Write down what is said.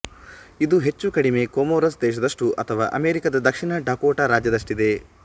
ಇದು ಹೆಚ್ಚುಕಡಿಮೆ ಕೊಮೊರೊಸ್ ದೇಶದಷ್ಟು ಅಥವಾ ಅಮೆರಿಕದ ದಕ್ಷಿಣ ಡಕೋಟ ರಾಜ್ಯದಷ್ಟಿದೆ